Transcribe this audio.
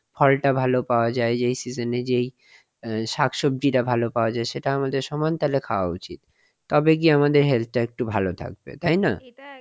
ফলটা ভালো পাওয়া যায় season এ যেই শাকসবজিটা পাওয়া যায় সেটা আমাদের সমান তালে খাওয়া উচিত তবে গিয়ে আমাদের health একটু ভালো থাকবে. তাই না?